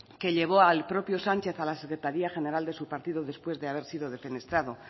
que llevó al propio sánchez a la secretaría general de su partido después de haber sido defenestrado